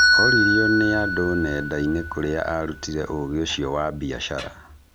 Oririo nĩ andũ nenda-inĩ kũra arutire ũgĩ ũcio wa biacara.